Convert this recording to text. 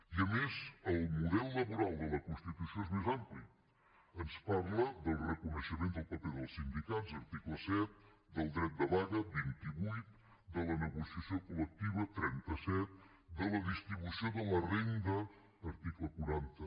i a més el model laboral de la constitució és més ampli ens parla del reconeixement del paper dels sindicats article set del dret de vaga vint vuit de la negociació col·lectiva trenta set de la distribució de la renda article quaranta